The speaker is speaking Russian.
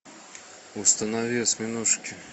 установи осьминожки